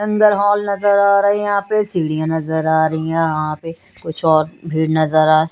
अंदर हॉल नज़र आ रहा हैं यह पे सीढिया नजर आरी हे यह पे कुछ और भीड़ नजर आ--